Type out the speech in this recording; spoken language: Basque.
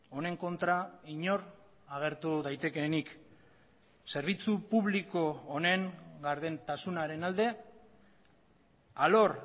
honen kontra inor agertu daitekeenik zerbitzu publiko honen gardentasunaren alde alor